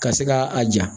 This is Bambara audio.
Ka se ka a ja